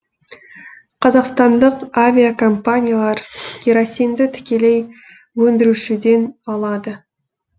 қазақстандық авиакомпаниялар керосинді тікелей өндірушіден алады